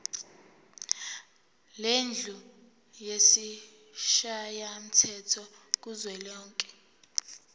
lendlu yesishayamthetho kuzwelonke